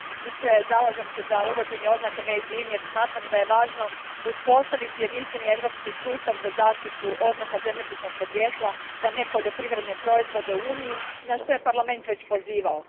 Gospodine predsjedniče, zalažem se za uvođenje oznake jer smatram da je važno uspostaviti jedinstveni europski sustav za zaštitu oznaka zemljopisnog podrijetla za nepoljoprivredne proizvode u Uniji, na što je Parlament već pozivao.